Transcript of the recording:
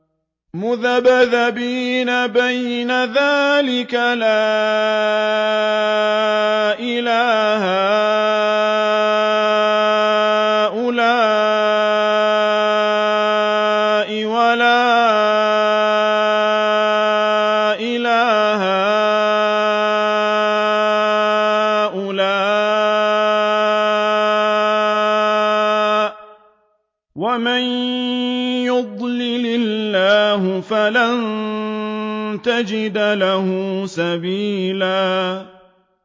مُّذَبْذَبِينَ بَيْنَ ذَٰلِكَ لَا إِلَىٰ هَٰؤُلَاءِ وَلَا إِلَىٰ هَٰؤُلَاءِ ۚ وَمَن يُضْلِلِ اللَّهُ فَلَن تَجِدَ لَهُ سَبِيلًا